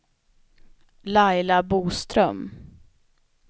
Laila Boström